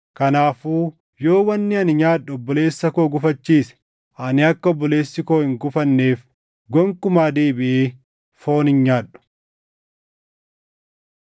Kanaafuu yoo wanni ani nyaadhu obboleessa koo gufachiise, ani akka obboleessi koo hin gufanneef gonkumaa deebiʼee foon hin nyaadhu.